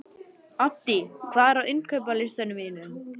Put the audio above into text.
Addý, hvað er á innkaupalistanum mínum?